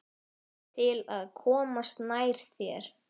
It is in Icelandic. Til að komast nær þér.